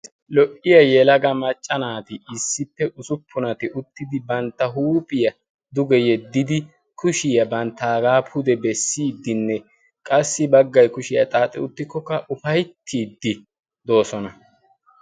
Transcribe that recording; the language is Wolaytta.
lo"iya yelaga macca naati issippe usuppunati uttidi bantta huuphiyaa duge yeddidi kushiyaa bantta agaa pude bessiiddinne qassi baggay kushiyaa xaaxi uttikkokka ufayttiiddi doosona.